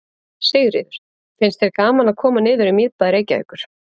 Sigríður: Finnst þér gaman að koma niður í miðbæ Reykjavíkur?